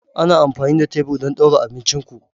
Ana amfani da tebur don ɗaura abincin ku.